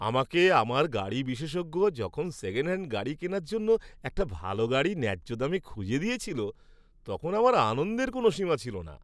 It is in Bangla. আমাকে আমার গাড়ি বিশেষজ্ঞ যখন সেকেন্ডহ্যান্ড গাড়ি কেনার জন্য একটা ভাল গাড়ি ন্যায্য দামে খুঁজে দিয়েছিল তখন আমার আনন্দের কোনো সীমা ছিল না।